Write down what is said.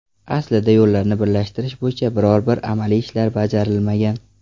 Aslida yo‘llarni birlashtirish bo‘yicha biror-bir amaliy ishlar bajarilmagan.